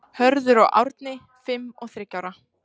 Hörður og Árni, fimm og þriggja ára.